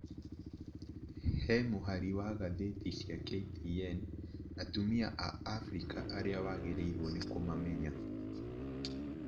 he mũhari wa gathĩti cia KTN, atumia a Afrika arĩa wagĩrĩirwo ni kũmamenya.